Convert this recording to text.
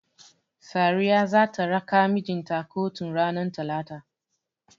Sariya zata raka mijinta kotun ranar talata.